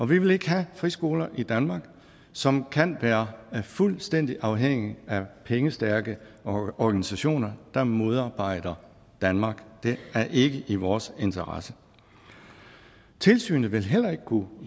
vil ikke have friskoler i danmark som kan være fuldstændig afhængige af pengestærke organisationer der modarbejder danmark det er ikke i vores interesse tilsynet vil heller ikke kunne